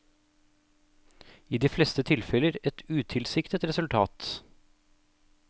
I de fleste tilfeller et utilsiktet resultat.